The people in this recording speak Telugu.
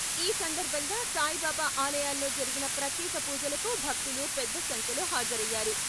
ఈ సందర్భంగా సాయిబాబా ఆలయాల్లో జరిగిన ప్రత్యేక పూజలకు భక్తులు పెద్ద సంఖ్యలో హాజరయ్యారు.